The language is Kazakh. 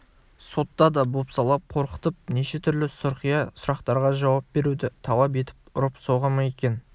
сотта да бопсалап қорқытып неше түрлі сұрқия сұрақтарға жауап беруді талап етіп ұрып соға ма екен